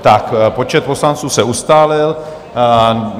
Tak počet poslanců se ustálil.